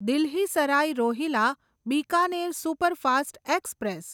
Delhi Sarai Rohilla Bikaner superfast express